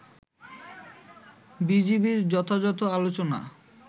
বিজিবি'র যথাযথ আলোচনা